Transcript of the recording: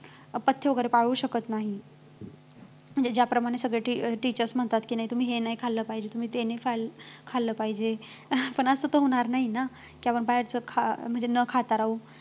पथ्य वैगेरे पाळू शकत नाही की ज्याप्रमाणे सगळे teachers म्हणतात की नाही तुम्ही हे नाही खाल्लं पाहिजे तुम्ही ते नाही खालखाल्लं पाहिजे पण असं तर होणार नाही ना कि आपण बाहेरचं खा म्हणजे न खाता राहू